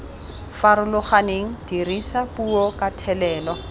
farologaneng dirisa puo ka thelelo